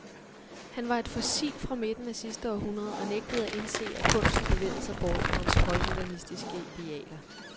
Han var et fossil fra midten af sidste århundrede og nægtede at indse, at kunsten bevægede sig bort fra hans højmodernistiske idealer.